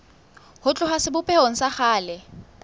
ho tloha sebopehong sa kgale